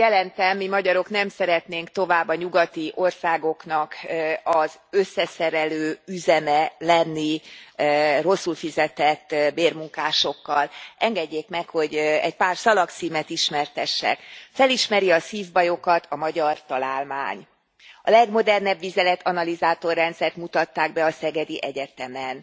Jelentem, mi magyarok nem szeretnénk tovább a nyugati országoknak az összeszerelő üzeme lenni rosszul fizetett bérmunkásokkal. Engedjék meg, hogy egy pár szalagcímet ismertessek Felismeri a szívbajokat a magyar találmány, A legmodernebb vizeletanalizátor rendszert mutatták be a Szegedi Egyetemen,